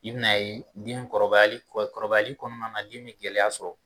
I bɛna a yen den kɔrɔbayali kɔnɔna na den bɛ gɛlɛya sɔrɔ